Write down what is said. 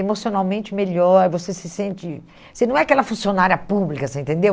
emocionalmente melhor, você se sente... Você não é aquela funcionária pública, você entendeu?